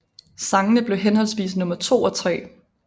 Sangene blev henholdsvis nummer 2 og 3